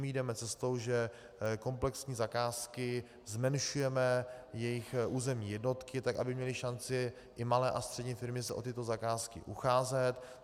My jdeme cestou, že komplexní zakázky - zmenšujeme jejich územní jednotky tak, aby měly šanci i malé a střední firmy se o tyto zakázky ucházet.